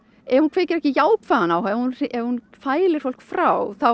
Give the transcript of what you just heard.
ef hún kveikir ekki jákvæðan áhuga ef hún ef hún fælir fólk frá